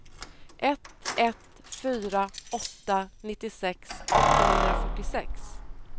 ett ett fyra åtta nittiosex åttahundrafyrtiosex